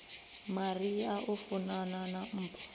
maria o funana na mpho